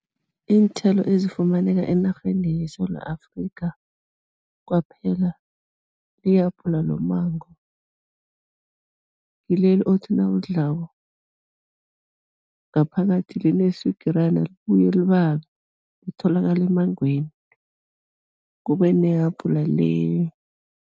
Iinthelo ezifumaneka enarheni yeSewula Afrika kwaphela, yihabhula lommango, ngileli othi nawulidlako, ngaphakathi lineswigirana libuye libabe, litholakala emmangweni, kube nehabula le